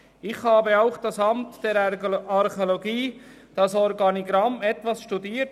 Ich habe auch das Organigramm des Amts für Archäologie etwas studiert.